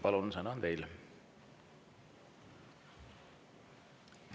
Palun, sõna on teil!